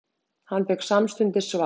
Hann fékk samstundis svar.